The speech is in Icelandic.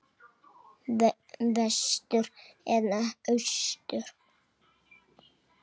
Vestur eða austur?